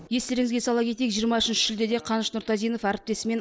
естеріңізге сала кетейік жиырма үшінші шілдеде қаныш нұртазинов әріптесімен